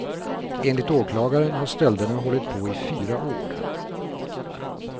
Enligt åklagaren har stölderna hållit på i fyra år.